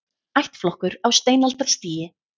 Ættflokkur á steinaldarstigi